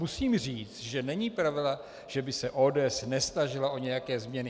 Musím říct, že není pravda, že by se ODS nesnažila o nějaké změny.